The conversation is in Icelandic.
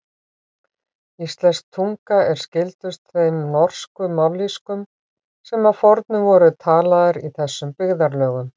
Íslensk tunga er skyldust þeim norsku mállýskum sem að fornu voru talaðar í þessum byggðarlögum.